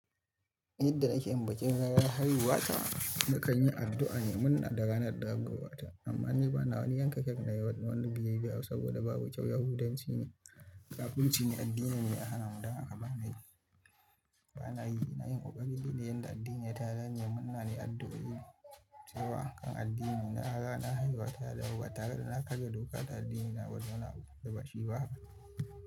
Yadda ake yin bikin ranar haihuwata, nakan yi addu’a ne. Muna da ranar damuwarta amma ni ba na wani yanka kifi na yi wani biyayya ba saboda babu kyau. Yahudanci ne kafinci ne, addini mai hana mu daga ba na yi. Na yi ƙoƙari domin yadda addini ya tanadi. Munana yi addu’a ne saboda kan addini na. Ranar haihuwata, damuwarta ba tare da na kar ya doka tare da addinina ba ta wani abu da bashi ba.